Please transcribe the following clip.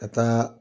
Ka taa